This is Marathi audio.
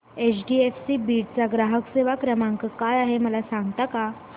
एचडीएफसी बीड चा ग्राहक सेवा क्रमांक काय आहे मला सांगता का